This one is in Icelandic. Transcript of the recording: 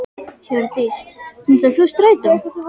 Hjördís: Notar þú strætó?